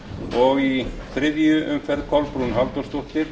og í þriðju umferð kolbrún halldórsdóttir